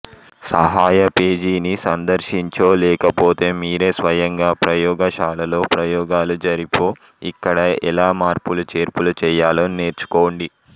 సహాయ పేజీని సందర్శించో లేకపోతే మీరే స్వయంగా ప్రయోగశాలలో ప్రయోగాలు జరిపో ఇక్కడ ఎలా మార్పులు చేర్పులు చేయాలో నేర్చుకోండి